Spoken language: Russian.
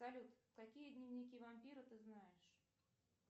салют какие дневники вампира ты знаешь